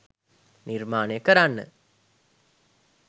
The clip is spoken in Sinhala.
නිර්මාණය කරන්න.